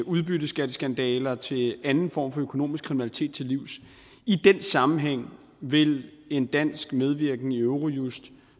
udbytteskatteskandaler til anden form for økonomisk kriminalitet til livs i den sammenhæng vil en dansk medvirken i eurojust